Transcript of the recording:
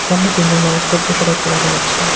সামনে তিনজন মানুষকে বসে থাকতে দেখা যাচ্ছে।